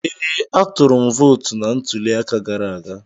Ee, atụrụ m vootu na ntuli aka gara aga.